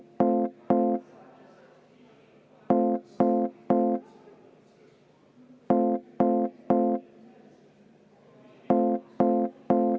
Henn Põlluaas, palun!